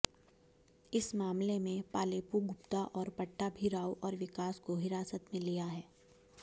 इस मामले में पालेपु गुप्ता और पट्टाभी राव और विकास को हिरासत में लिया है